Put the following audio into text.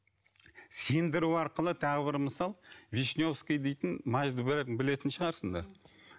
сендіру арқылы тағы бір мысал вишневский дейтін мазьды бәрің білетін шығарсыңдар